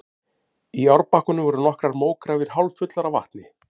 Í árbakkanum voru nokkrar mógrafir hálffullar af vatni.